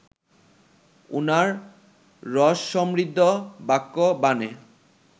উনার রসসমৃদ্ধ বাক্যবাণে